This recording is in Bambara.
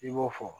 I b'o fɔ